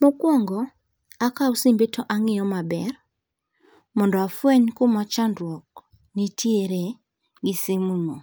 Mokuongo akawo simbeno to ang'iyo maber mondo afweny kuma chandruok nitiere gi simuno.